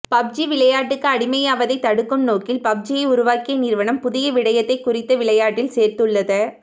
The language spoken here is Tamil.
பப்ஜி விளையாட்டுக்கு அடிமையாவதைத் தடுக்கும் நோக்கில் பப்ஜியை உருவாக்கிய நிறுவனம் புதிய விடயத்தை குறித்த விளையாட்டில் சேர்த்துள்ளத